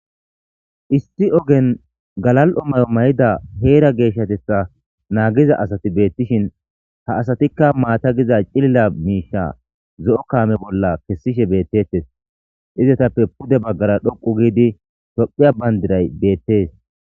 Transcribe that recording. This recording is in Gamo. Issi ogen galal'i mayo mayid Hera geshatetha nagiza asat beetishn hesatika mata gidiza cilila kame bolla kesishe betetes. Izzetappe pude bagara dhoqu gid tophiya bandiray beetes .